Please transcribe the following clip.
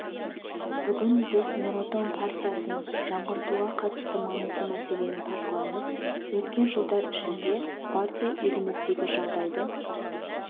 бүгін біз нұр отан партиясын жаңғыртуға қатысты маңызды мәселені талқылаймыз өткен жылдар ішінде партия еліміздегі жағдайды